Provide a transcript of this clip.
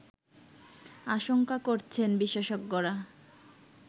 আশঙ্কা করছেন বিশেষজ্ঞরা